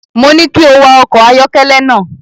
Mo ní kí o wa ọkọ̀ ayọ́kẹ́lẹ́ náà.